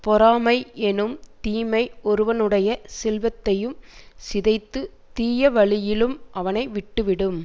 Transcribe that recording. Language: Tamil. பொறாமை எனும் தீமை ஒருவனுடைய செல்வத்தையும் சிதைத்துத் தீய வழியிலும் அவனை விட்டு விடும்